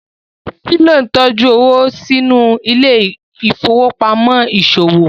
Philo ntọjú owo sínú Ile-ifowopamọ iṣowo